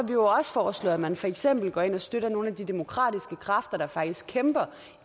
vi jo også foreslået at man for eksempel går ind og støtter nogle af de demokratiske kræfter der faktisk kæmper